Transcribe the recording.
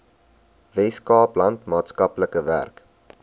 weskaapland maatskaplike werk